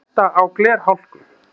Hætta á glerhálku